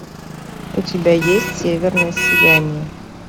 у тебя есть северное сияние